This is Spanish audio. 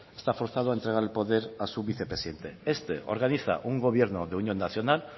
está forzado a entregar el poder a su vicepresidente este organiza un gobierno de unión nacional